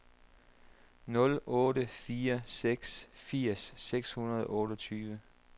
nul otte fire seks firs seks hundrede og otteogtyve